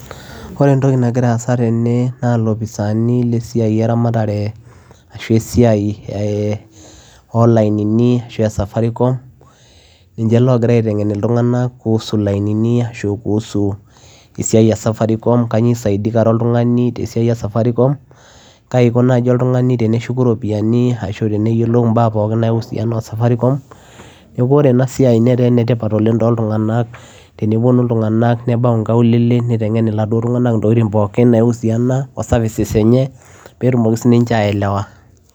Ore entokii nagiraa aasa tene naa ilopisaani le safaricom logiraa aitengen ilntunganak kuhusu ilainini kanyioo faida esiai ee safaricom kaaji iko oltunganii tends teneshuku iropiyianii neekuu oree enaa siai neetaa ene tipat oleng too ilntunganak teniteng ilntunganak irkulie peyiee eyilou ibaaa ee services ee safaricom